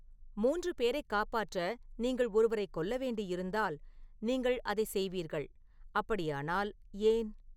மூன்று பேரைக் காப்பாற்ற நீங்கள் ஒருவரைக் கொல்ல வேண்டியிருந்தால் நீங்கள் அதை செய்வீர்கள் அப்படியானால் ஏன்